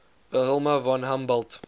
wilhelm von humboldt